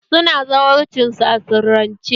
Su na zawarcin su a sirrance